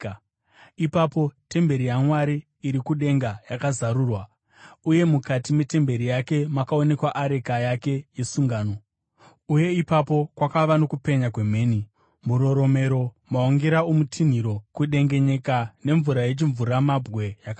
Ipapo temberi yaMwari iri kudenga yakazarurwa, uye mukati metemberi yake makaonekwa areka yake yesungano. Uye ipapo kwakava nokupenya kwemheni, muroromero, maungira okutinhira, kudengenyeka nemvura yechimvuramabwe yakawanda.